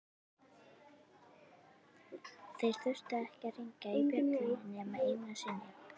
Þeir þurftu ekki að hringja bjöllunni nema einu sinni.